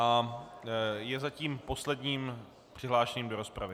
A je zatím posledním přihlášeným do rozpravy.